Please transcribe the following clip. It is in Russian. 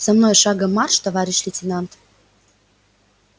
за мной шагом марш товарищ лейтенант